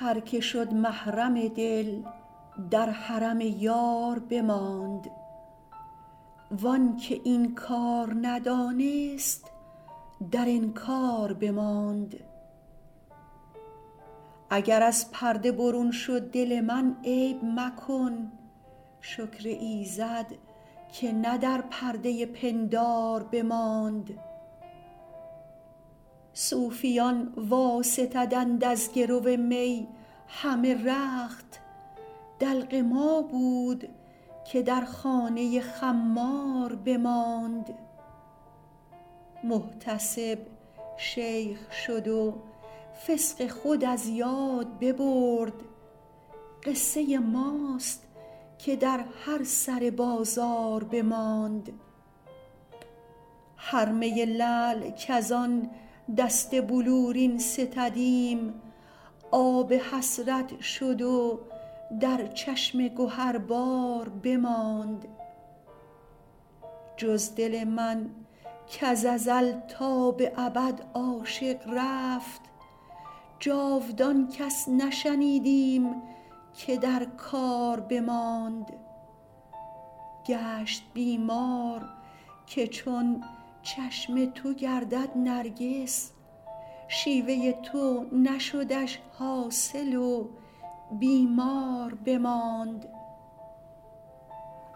هر که شد محرم دل در حرم یار بماند وان که این کار ندانست در انکار بماند اگر از پرده برون شد دل من عیب مکن شکر ایزد که نه در پرده پندار بماند صوفیان واستدند از گرو می همه رخت دلق ما بود که در خانه خمار بماند محتسب شیخ شد و فسق خود از یاد ببرد قصه ماست که در هر سر بازار بماند هر می لعل کز آن دست بلورین ستدیم آب حسرت شد و در چشم گهربار بماند جز دل من کز ازل تا به ابد عاشق رفت جاودان کس نشنیدیم که در کار بماند گشت بیمار که چون چشم تو گردد نرگس شیوه تو نشدش حاصل و بیمار بماند